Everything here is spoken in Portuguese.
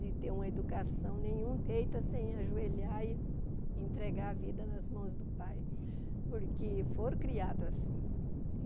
de ter uma educação, nenhum deita sem ajoelhar e entregar a vida nas mãos do Pai, porque foram criados assim.